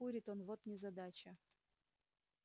не курит он вот незадача